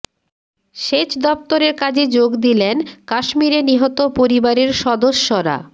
সেচ দপ্তরের কাজে যোগ দিলেন কাশ্মীরে নিহত পরিবারের সদস্যরা